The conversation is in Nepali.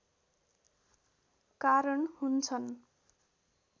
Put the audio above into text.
कारण हुन्छन्